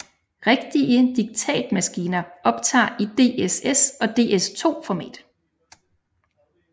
Rigtige diktatmaskiner optager i DSS og DS2 format